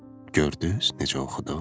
gördüz necə oxudum?